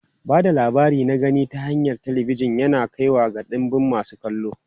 Ba da labari na gani ta hanyar talabijin yana kaiwa ga ɗimbin masu kallo.